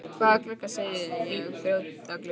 Hvaða glugga segi ég, brjóta glugga?